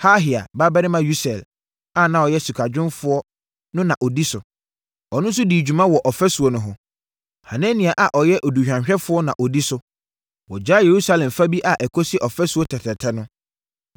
Harhaia babarima Usiel a na ɔyɛ sikadwumfoɔ no na ɔdi so. Ɔno nso dii dwuma wɔ ɔfasuo no ho. Hanania a ɔyɛ aduhwamyɛfoɔ no na ɔdi so. Wɔgyaa Yerusalem fa bi a ɛkɔsi Ɔfasuo Tɛtrɛtɛ no.